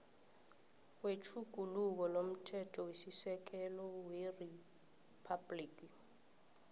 wetjhuguluko lomthethosisekelo weriphabhligi